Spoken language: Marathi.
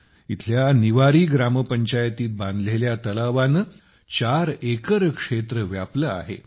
इथल्या निवारी ग्रामपंचायतीत बांधलेल्या तलावाने 4 एकरक्षेत्र व्यापले आहे